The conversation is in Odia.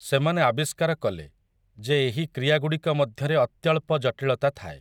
ସେମାନେ ଆବିଷ୍କାର କଲେ, ଯେ ଏହି କ୍ରିୟାଗୁଡ଼ିକ ମଧ୍ୟରେ ଅତ୍ୟଳ୍ପ ଜଟିଳତା ଥାଏ ।